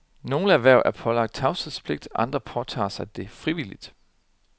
Nogle erhverv er pålagt tavshedspligt, andre påtager sig det frivilligt.